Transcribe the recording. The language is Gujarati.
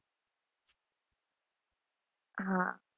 હા